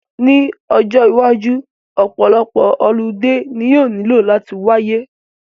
Ní ọjọ́ iwájú, ọ̀pọ̀lọpọ̀ holiday ni yóò nílò láti wáyé